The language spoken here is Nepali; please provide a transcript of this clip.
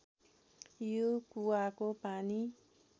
यो कुवाको पानी